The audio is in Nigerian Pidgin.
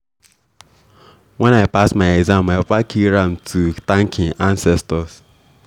when i pass my exam my papa kill ram to thank im ancestors.